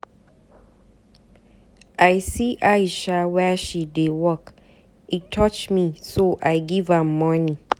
I see Aisha where she dey work. E touch me so I give am money.